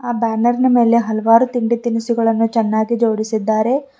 ಆ ಬ್ಯಾನರ್ ನ ಮೇಲೆ ಹಲವಾರು ತಿಂಡಿ ತಿನಿಸುಗಳನ್ನು ಚೆನ್ನಾಗಿ ಜೋಡಿಸಿದ್ದಾರೆ.